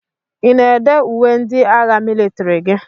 Ị na-èdé uwe ndị agha mịlịtrị gị?